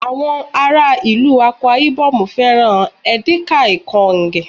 àwọn ará ìlú Akwa ibom fẹràn edikaikaong